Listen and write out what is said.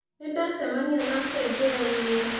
Nĩ ndacemania nake njĩra-inĩ.